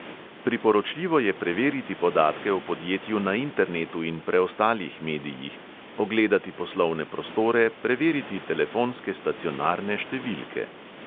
Priporočljivo je preveriti podatke o podjetju na internetu in preostalih medijih, ogledati poslovne prostore, preveriti telefonske stacionarne številke ...